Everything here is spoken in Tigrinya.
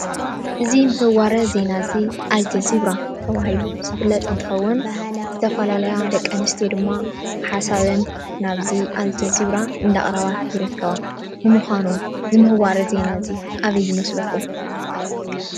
እዚ ምህዋረ ዜና እዚ ኣልጄዚራ ተባሂሉ ዝፍለጥ እንትኸዉን ዝተፈላለያ ደቂ ኣንስትዮ ድማ ሓሳበን ናብዚ ኣልጄዚራ እንዳቕረባ ይርከባ። ንምኻኑ እዚ ምህዋረ ዜና እዚ ኣበይ ይመስለኩም?